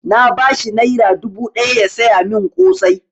Na ba shi naira dubu ɗaya ya saya mun ƙosai